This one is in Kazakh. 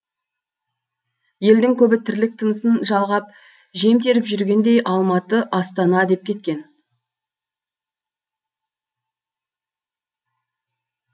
елдің көбі тірлік тынысын жалғап жем теріп жүргендей алматы астана деп кеткен